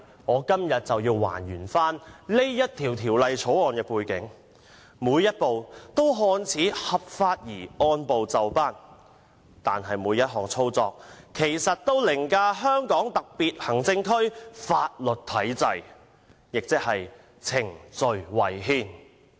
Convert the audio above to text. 我今天便要"還原"《條例草案》的背景，每一步均"看似"合法而按部就班，但其實每一項操作均凌駕香港特別行政區法律體制，亦即程序違憲。